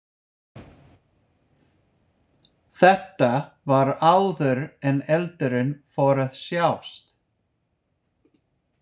Þetta var áður en eldurinn fór að sjást.